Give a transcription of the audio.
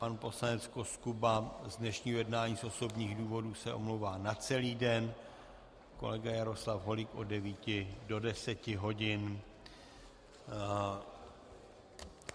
Pan poslanec Koskuba z dnešního jednání z osobních důvodů se omlouvá na celý den, kolega Jaroslav Holík od 9 do 10 hodin.